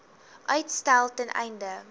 uitstel ten einde